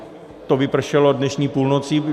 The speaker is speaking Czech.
To vypršelo dnešní půlnocí.